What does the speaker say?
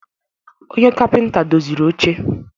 Onye kapịnta doziri oche.